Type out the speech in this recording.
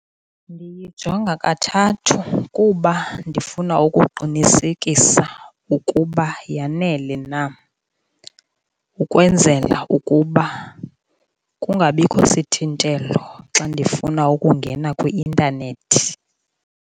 Ndiyijonga kathathu kuba ndifuna ukuqinisekisa ukuba yanele na, ukwenzela ukuba kungabikho sithintelo xa ndifuna ukungena kwi-intanethi.